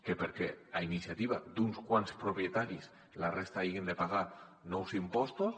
que perquè a iniciativa d’uns quants propietaris la resta hagin de pagar nous impostos